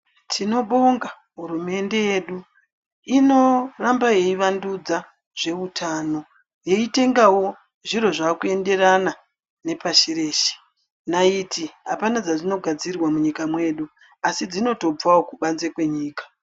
Tinobonga hurumende yedu inoramba yeivandudza zveutano, yeitangawo zviro zvaakuenderana nepashi reshe. Naiti hapana padzinogadzirwa munyika mwedu, asi dzinotobvawo kubanze kwenyika.